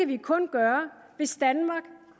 vi kun gøre hvis danmark